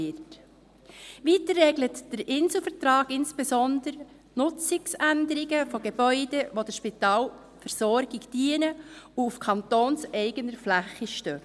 Weiter regelt der Inselvertrag insbesondere die Nutzungsänderung von Gebäuden, welche der Spitalversorgung dienen und auf kantonseigener Fläche stehen.